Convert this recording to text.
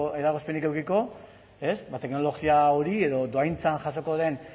eragozpenik edukiko teknologia hori edo dohaintzan jasoko den